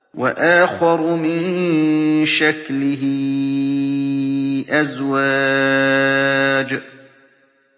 وَآخَرُ مِن شَكْلِهِ أَزْوَاجٌ